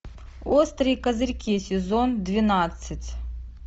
острые козырьки сезон двенадцать